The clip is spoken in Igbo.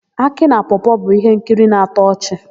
Akị na Pọọ-pọọ bụ íhénkiri na-atọ ọchị.